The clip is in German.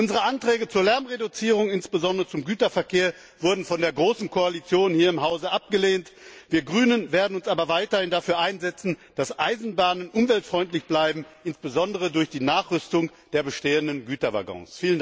Unsere Anträge zur Lärmreduzierung, insbesondere beim Güterverkehr, wurden von der großen Koalition hier im Haus abgelehnt. Wir Grünen werden uns aber weiterhin dafür einsetzen, dass Eisenbahnen umweltfreundlich bleiben, insbesondere durch die Nachrüstung der bestehenden Güterwaggons.